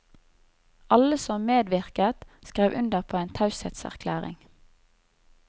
Alle som medvirket, skrev under på en taushetserklæring.